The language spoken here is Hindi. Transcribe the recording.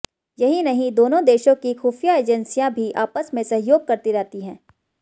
यही नहीं दोनों देशों की खूफिया एजेंसियां भी आपस में सहयोग करती रहती है